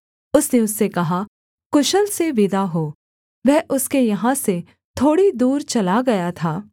उसने उससे कहा कुशल से विदा हो वह उसके यहाँ से थोड़ी दूर चला गया था